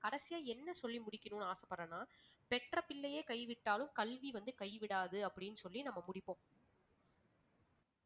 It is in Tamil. கடைசியா என்ன சொல்லி முடிக்கணும்னு ஆசைப்படறேன்னா பெற்ற பிள்ளையே கைவிட்டாலும் கல்வி வந்து கைவிடாது அப்படின்னு சொல்லி நம்ம முடிப்போம்.